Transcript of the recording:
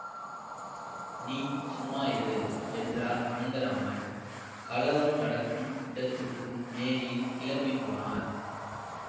நீ சும்மா இரு என்றார் அனந்தராமன் கலகம் நடக்கும் இடத்துக்கும் நேரில் கிளம்பி போனார்